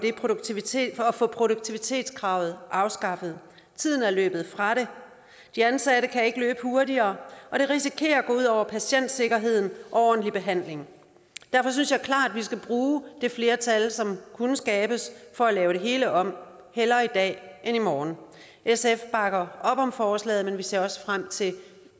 få produktivitetskravet afskaffet tiden er løbet fra det de ansatte kan ikke løbe hurtigere og det risikerer at gå ud over patientsikkerheden og ordentlig behandling derfor synes jeg klart at vi skal bruge det flertal som kunne skabes for at lave det hele om hellere i dag end i morgen sf bakker op om forslaget men vi ser også frem til